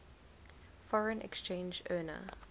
foreign exchange earner